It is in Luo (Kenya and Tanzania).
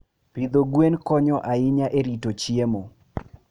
Pidho gwen konyo ahinya e rito chiemo.